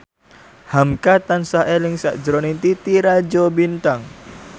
hamka tansah eling sakjroning Titi Rajo Bintang